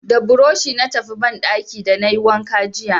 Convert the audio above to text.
Da burushi na tafi banɗaki da na yi wanka jiya.